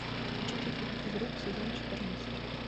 включите фильм физрук сезон четырнадцать